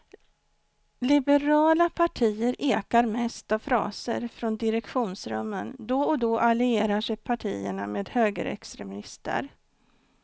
Liberala partier ekar mest av fraser från direktionsrummen, då och då allierar sig partierna med högerextremister.